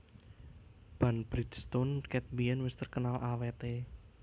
Ban Bridgestone ket biyen wes terkenal awet e